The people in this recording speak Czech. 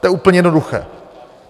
To je úplně jednoduché.